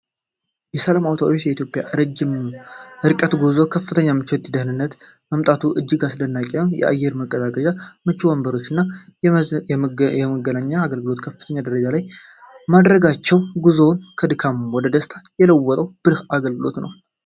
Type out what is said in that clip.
ሰላም አውቶቡስ ለኢትዮጵያ ረጅም ርቀት ጉዞ ከፍተኛ ምቾትና ደህንነትን ማምጣቱ እጅግ አስደናቂ ነው! የአየር ማቀዝቀዣ፣ ምቹ ወንበሮችና የመዝናኛ አገልግሎቶችን ከፍተኛ ደረጃ ላይ ማድረጋቸው፣ ጉዞን ከድካም ወደ ደስታ የለወጠ ብልህ አገልግሎት ነው።